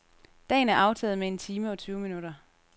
Dagen er aftaget med en time og tyve minutter.